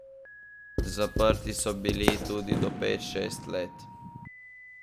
Zaprti so bili tudi do pet, šest let.